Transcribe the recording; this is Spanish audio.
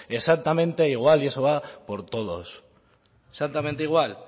exactamente igual y eso va por todos exactamente igual